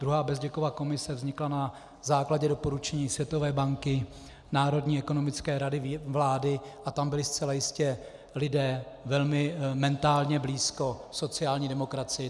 Druhá Bezděkova komise vznikla na základě doporučení Světové banky, Národní ekonomické rady vlády a tam byli zcela jistě lidé velmi mentálně blízko sociální demokracii.